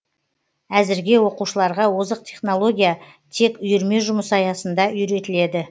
әзірге оқушыларға озық технология тек үйірме жұмысы аясында үйретіледі